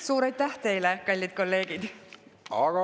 Suur aitäh teile, kallid kolleegid!